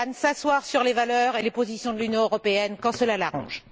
Orban s'asseoir sur les valeurs et les positions de l'Union européenne quand cela l'arrange.